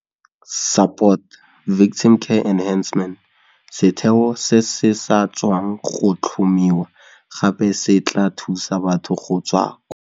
Setheo se se sa tswang go tlhomiwa gape se tla thusa batho go tswa kwa.